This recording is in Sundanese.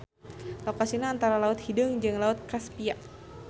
Lokasina antara Laut Hideung jeung Laut Kaspia.